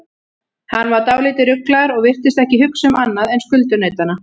Hann var dálítið ruglaður og virtist ekki hugsa um annað en skuldunautana.